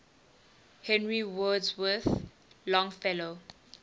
henry wadsworth longfellow